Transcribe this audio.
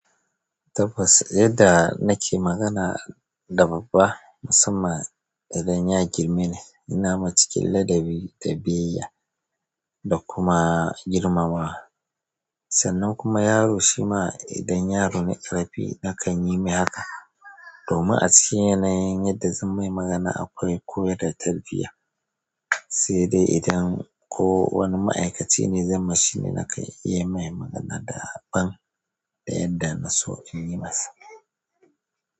Tabbas, yadda nake magana da babba musamman idan ya girme ni, ina mai cikin ladabi da biyayya da kuma girmamawa. Sannan kuma yaro shi ma idan yaro ne ƙarami nakan yi mai haka. Domin a cikin yanayin yadda zan mai magana akwai koyar da tarbiyya. Sai dai idan ko wani ma'aikaci ne, zan ma shi ne nakan yi mai magana da ban da yadda na so in yi masa.